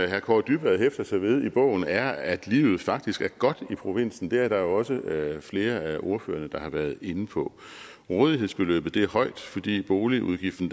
herre kaare dybvad hæfter sig ved i bogen er at livet faktisk er godt i provinsen det er der jo også flere af ordførerne der har været inde på rådighedsbeløbet er højt fordi boligudgiften